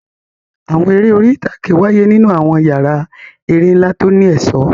Àwọn eré orí ìtàgé wáyé nínú àwọn yàrá eré ńlá tó ní ẹ̀ṣọ́.